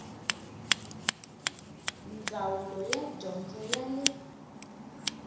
ndzawulo ya dyondzo ya le